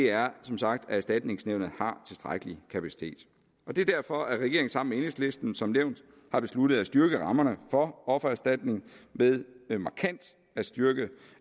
er som sagt at erstatningsnævnet har tilstrækkelig kapacitet det er derfor at regeringen sammen med enhedslisten som nævnt har besluttet at styrke rammerne for offererstatning ved ved markant at styrke